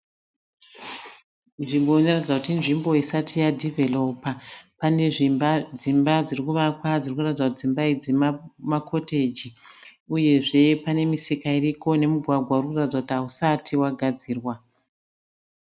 Nzvimbo inoratidza kuti inzvimbo isati yadhivheropa pane dzimba dziri kuvakwa dziri kuratidza kuti dzimba idzi makoteji uyezve pane misika iriko nemugwagwa uri kuratidza kuti hausati wagadzirwa.